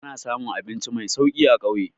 Ana samun abinci mai sauki a ƙauye.